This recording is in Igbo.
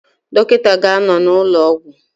Dọkịta ga-anọ n'ụlọ ọgwụ